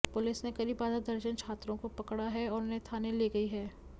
police ने करीब आधा दर्जन छात्रों को पकड़ा है और उन्हें थाने ले गई है